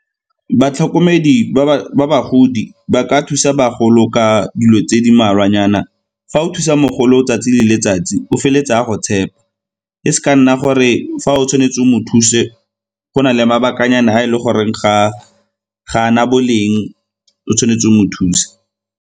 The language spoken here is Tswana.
Batlhokomedi ba bagodi ba ka thusa bagolo ka dilo tse di mmalwanyana. Fa o thusa mogolo 'tsatsi le letsatsi o feleletsa a go tshepa, e se ka nna gore fa o tshwanetse o mo thuse go na le mabakanyana a e le gore ga a na boleng o tshwanetse o mo thuse.